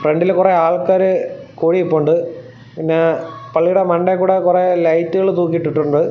ഫ്രണ്ടിൽ കുറെ ആൾക്കാര് കൂടി നിൽപ്പുണ്ട് പിന്നെ പള്ളിയുടെ മണ്ടയിൽ കൂടെ കുറെ ലൈറ്റുകൾ തൂക്കിയിട്ടിട്ടുണ്ട്.